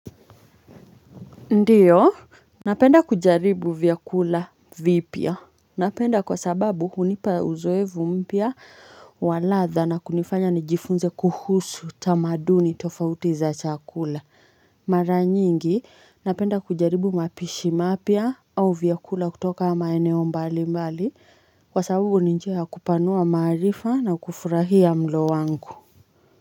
Ndio napenda kujaribu vyakula vipya napenda kwa sababu hunipa uzoevu mpya wa ladha na kunifanya nijifunze kuhusu tamaduni tofauti za chakula mara nyingi napenda kujaribu mapishi mapya au vyakula kutoka maeneo mbali mbali kwa sababu ni njia kupanua maarifa na kufurahia mlo wangu.